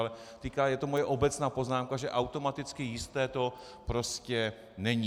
Ale je to moje obecná poznámka, že automaticky jisté to prostě není.